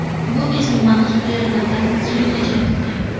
Bu bezning maxsus hujayralaridan insulin ajratildi.